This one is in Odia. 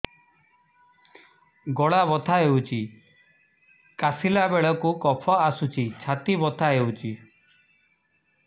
ଗଳା ବଥା ହେଊଛି କାଶିଲା ବେଳକୁ କଫ ଆସୁଛି ଛାତି ବଥା ହେଉଛି